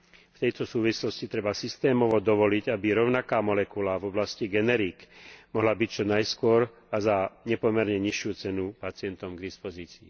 V tejto súvislosti treba systémovo dovoliť, aby rovnaká molekula v oblasti generík mohla byť čo najskôr a za nepomerne nižšiu cenu pacientom k dispozícii.